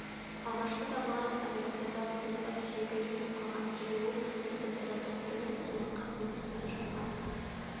алғашқы табылған овираптозаврдың бассүйегі езіліп қалған және ол протацератоптың жұмыртқасының үстінде жатқан